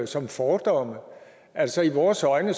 som fordomme altså i vores øjne